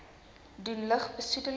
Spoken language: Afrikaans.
doen lug besoedeling